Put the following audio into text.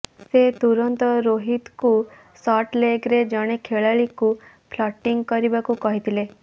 ସେ ତୁରନ୍ତ ରୋହିତଙ୍କୁ ଶର୍ଟ ଲେଗ୍ରେ ଜଣେ ଖେଳାଳିଙ୍କୁ ଫିଲ୍ଡିଂ କରିବାକୁ କହିଥିଲେ